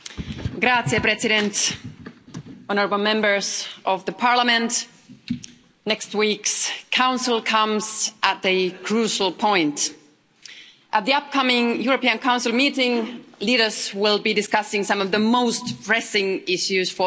President, honourable Members of the Parliament, next week's Council comes at a crucial point. At the upcoming European Council meeting, leaders will be discussing some of the most pressing issues for the Union.